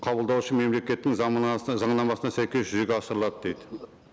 қабылдаушы мемлекеттің заңнамасына сәйкес жүзеге асырылады дейді